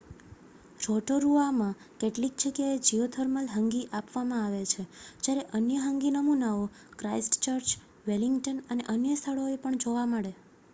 રોટોરુઆમાં કેટલીક જગ્યાએ geothermal hangi આપવામાં આવે છે જ્યારે અન્ય હંગી નમૂનાઓ ક્રાઇસ્ટચર્ચ વેલિંગ્ટન અને અન્ય સ્થળોએ પણ જોવા મળે